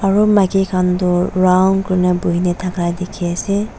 aro maiki kan tho round kurina buina daka diki ase.